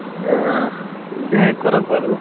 অহ দে কৰক বাৰু